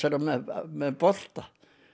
með bolta